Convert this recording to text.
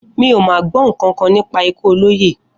Mi ò má gbó̩ nǹkankan nípa ikú olóyè